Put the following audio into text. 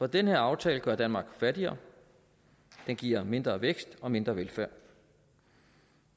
den her aftale gør danmark fattigere den giver mindre vækst og mindre velfærd